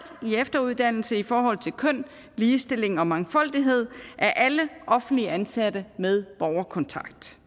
i efteruddannelse i forhold til køn ligestilling og mangfoldighed af alle offentligt ansatte med borgerkontakt